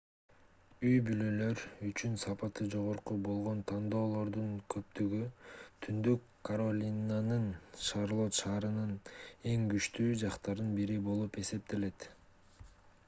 үй-бүлөлөр үчүн сапаты жогору болгон тандоолордун көптүгү түндүк каролинанын шарлотт шаарынын эң күчтүү жактарынын бири болуп эсептелет